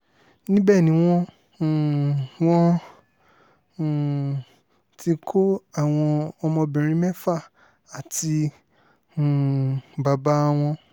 níbẹ̀ ni wọ́n um wọ́n um ti kọ́ àwọn ọmọbìnrin mẹ́fà àti um bàbá wọn